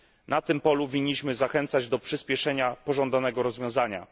Na tym polu winniśmy zachęcać do przyspieszenia pożądanego rozwiązania.